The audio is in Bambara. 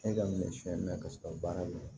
E ka minɛ siɲɛ mɛn ka sɔrɔ baara ma